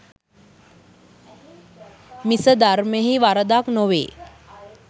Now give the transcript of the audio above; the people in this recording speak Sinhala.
මිස ධර්මයෙහි වරදක් නොවේ.